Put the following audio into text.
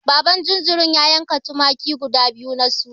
Baban jinjirin ya yanka tumaki guda biyu na suna.